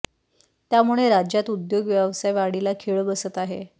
त्यामुळे राज्यात उद्योग व्यावसाय वाढीला खीळ बसत आहे